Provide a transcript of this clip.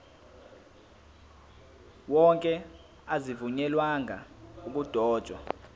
wonke azivunyelwanga ukudotshwa